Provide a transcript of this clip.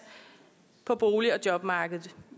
på bolig og jobmarkedet